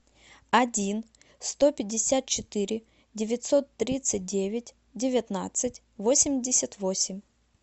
один сто пятьдесят четыре девятьсот тридцать девять девятнадцать восемьдесят восемь